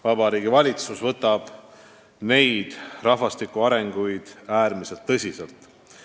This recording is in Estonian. Vabariigi Valitsus võtab neid arenguid äärmiselt tõsiselt.